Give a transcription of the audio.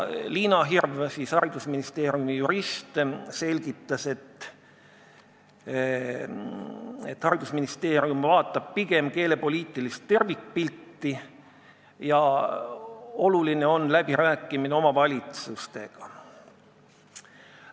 Liina Hirv, haridusministeeriumi jurist, selgitas, et haridusministeerium vaatab pigem keelepoliitilist tervikpilti ja oluline on läbi rääkida omavalitsustega.